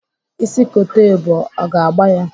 Ịsị kote ebu, ọ ga-agba ya?